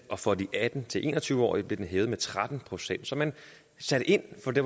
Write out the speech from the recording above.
og for de atten til en og tyve årige blev den hævet med tretten procent så man satte ind for det